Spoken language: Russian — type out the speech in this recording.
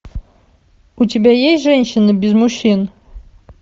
у тебя есть женщины без мужчин